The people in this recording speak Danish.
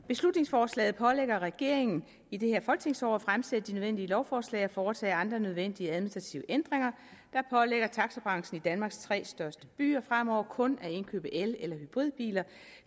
beslutningsforslaget pålægger regeringen i det her folketingsår at fremsætte de nødvendige lovforslag og foretage andre nødvendige administrative ændringer der pålægger taxabranchen i danmarks tre største byer fremover kun at indkøbe el eller hybridbiler